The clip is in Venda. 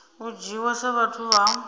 u dzhiiwa sa vhathu vha